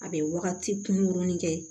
A bɛ wagati kunkurunin kɛ